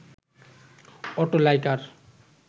auto liker